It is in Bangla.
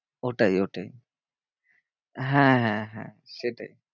ওটাই ওটাই হ্যাঁ, হ্যাঁ, হ্যাঁ সেটাই।